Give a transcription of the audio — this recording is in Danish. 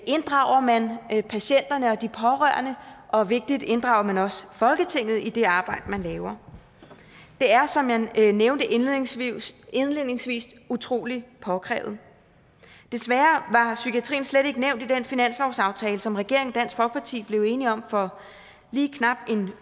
inddrager man patienterne og de pårørende og vigtigt inddrager man også folketinget i det arbejde man laver det er som jeg nævnte indledningsvis indledningsvis utrolig påkrævet desværre var psykiatrien slet ikke nævnt i den finanslovsaftale som regeringen og dansk folkeparti blev enige om for lige knap en